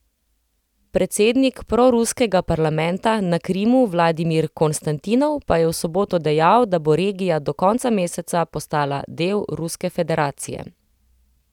Predsednik proruskega parlamenta na Krimu Vladimir Konstantinov pa je v soboto dejal, da bo regija do konca meseca postala del Ruske federacije.